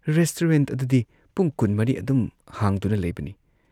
Restaurant ꯑꯗꯨꯗꯤ ꯄꯨꯡ ꯀꯨꯟꯃꯔꯤ ꯑꯗꯨꯝ ꯍꯥꯡꯗꯨꯅ ꯂꯩꯕꯅꯤ ꯫